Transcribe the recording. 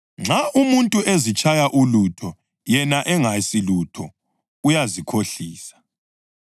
Nxa umuntu ezitshaya ulutho yena engasilutho, uyazikhohlisa.